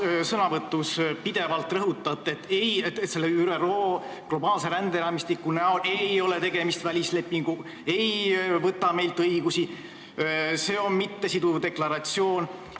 Te oma sõnavõtus pidevalt rõhutate, et ei, ÜRO globaalne ränderaamistik ei ole välisleping, see ei võta meilt õigusi, see on mittesiduv deklaratsioon.